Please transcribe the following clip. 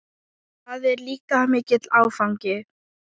Það er líka mikill áfangi.